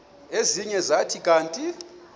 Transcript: ezinye zathi kanti